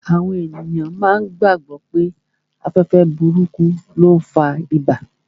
Àwọn èèyàn máa gbàgbọ̀ pé afẹ́fẹ́ burúkú ló n fa ibà